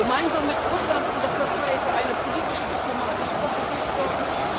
Gemeinsam mit Russland und der Türkei für eine politische diplomatische Offensive sorgen?